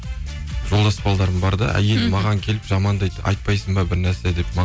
жолдас балаларым бар да әйелі маған келіп жамандайды айтпайсын ба бірнәрсе деп